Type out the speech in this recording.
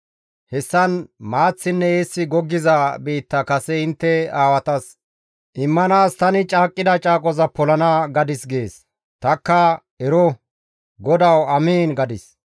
Hessan maaththinne eessi goggiza biitta kase intte aawatas immanaas tani caaqqida caaqo polana› gadis» gees. Tanikka, «Ero, GODAWU, amiin» gadis.